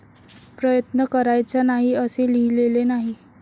प्रयत्न करायचा नाही असे लिहिलेले नाही.